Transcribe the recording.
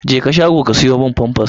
Jeka shago ka siyo min famfas!